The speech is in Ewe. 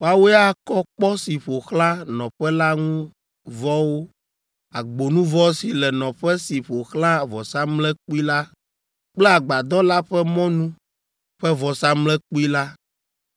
Woawoe akɔ kpɔ si ƒo xlã nɔƒe la ŋu vɔwo, agbonuvɔ si le nɔƒe si ƒo xlã vɔsamlekpui la kple agbadɔ la ƒe mɔnu ƒe vɔsamlekpui la,